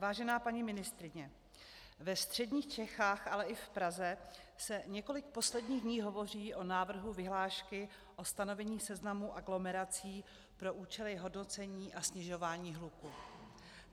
Vážená paní ministryně, ve středních Čechách, ale i v Praze se několik posledních dní hovoří o návrhu vyhlášky o stanovení seznamu aglomerací pro účely hodnocení a snižování hluku.